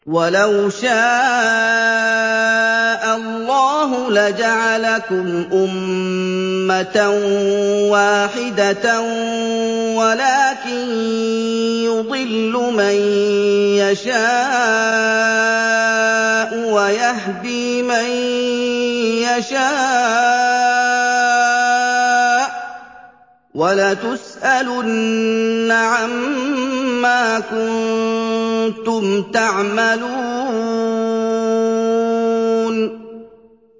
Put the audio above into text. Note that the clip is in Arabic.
وَلَوْ شَاءَ اللَّهُ لَجَعَلَكُمْ أُمَّةً وَاحِدَةً وَلَٰكِن يُضِلُّ مَن يَشَاءُ وَيَهْدِي مَن يَشَاءُ ۚ وَلَتُسْأَلُنَّ عَمَّا كُنتُمْ تَعْمَلُونَ